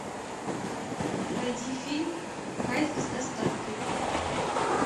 найди фильм кайф с доставкой